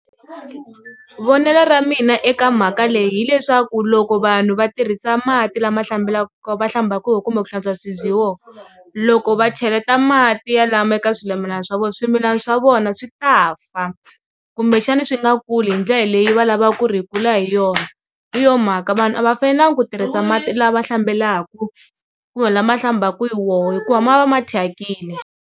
Vonelo ra mina eka mhaka leyi hileswaku loko vanhu va tirhisa mati lama hlambelaka va hlambaka kumbe ku hlantswa swibye hi wona loko va cheleta mati ya lama eka swimilana swa vona swimilana swa vona swi ta fa kumbexana swi nga ku ri hi ndlela leyi va lavaka ku ri hi kula hi yona hi yo mhaka vanhu a va fanelanga ku tirhisa mati lama hlambelaka kumbe lama hlambaka hi wo hikuva ma va ma thyakile.